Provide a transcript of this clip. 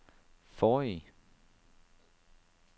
forrige